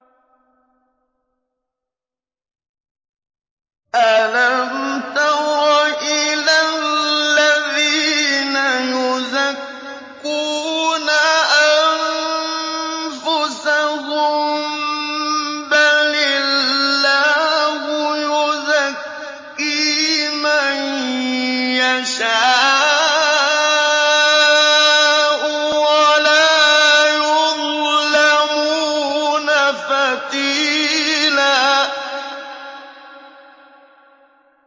أَلَمْ تَرَ إِلَى الَّذِينَ يُزَكُّونَ أَنفُسَهُم ۚ بَلِ اللَّهُ يُزَكِّي مَن يَشَاءُ وَلَا يُظْلَمُونَ فَتِيلًا